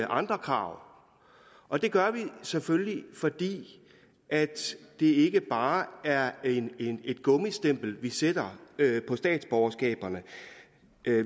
andre krav og det gør vi selvfølgelig fordi det ikke bare er et gummistempel vi sætter på statsborgerskabet